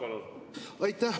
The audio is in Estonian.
Aitäh!